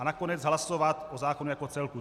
A nakonec hlasovat o zákonu jako celku.